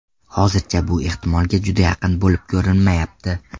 Hozircha bu ehtimolga juda yaqin bo‘lib ko‘rinmayapti.